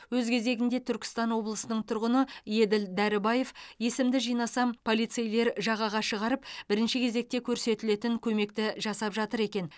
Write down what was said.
өз кезегінде түркістан облысының тұрғыны еділ дәрібаев есімді жинасам полицейлер жағаға шығарып бірінші кезекте көрсетілетін көмекті жасап жатыр екен